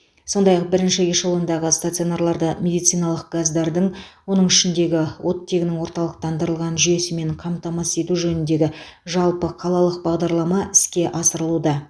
сондай ақ бірінші эшелондағы стационарларды медициналық газдардың оның ішінде оттегінің орталықтандырылған жүйесімен қамтамасыз ету жөніндегі жалпықалалық бағдарлама іске асырылуда